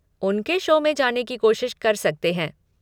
उनके शो में जाने की कोशिश कर सकते हैं।